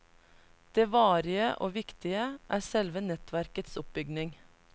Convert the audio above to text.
Det varige, og viktige, er selve nettverkets oppbygning.